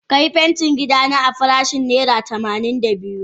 Ka yi fentin gida na a farashin naira tamanin da biyu.